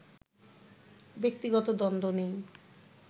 ব্যক্তিগত দ্বন্দ্ব নেই